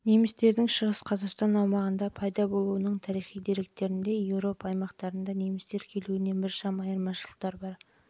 немістердің шығыс қазақстан аумағында пайда болуының тарихи деректерінде еуропа аумақтарында немістер келуінен біршама айырмашылық бар